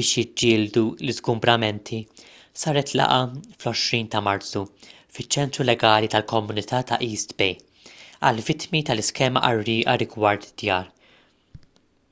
biex jiġġieldu l-iżgumbramenti saret laqgħa fl-20 ta' marzu fiċ-ċentru legali tal-komunità ta' east bay għall-vittmi tal-iskema qarrieqa rigward id-djar